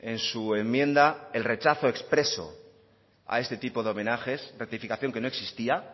en su enmienda el rechazo expreso a este tipo de homenajes rectificación que no existía